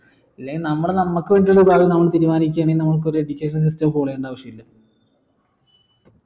ഇല്ലേൽ നമ്മൾ നമ്മൾക്ക് വേണ്ടി ഒരു ഭാവി നമ്മള് തീരുമാനിക്കായാണെങ്കി നമുക്ക് ഒരു education system follow ചെയ്യണ്ട ആവിശ്യമില്ല